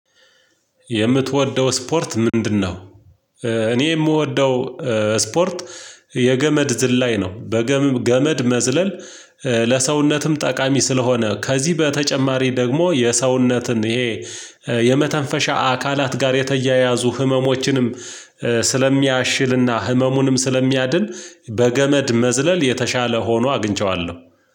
የምትወደው ስፖርት ምንድነው? እኔ የምወደው ስፖርት የገመድ ዝላይ ላይ ነው በገመድ መዝለል ለሰውነትም ጠቃሚ ስለሆነ ከዚህ በተጨማሪ ደግሞ የሰውነትን ይሄ የመተንፈሻ አካላት ጋር የተያያዙ ህመሞችንም ስለሚያሽልና ህመሙንም ስለሚያድን በገመድ መዝለል የተሻለ ሆኖ አግኝቼዋለሁ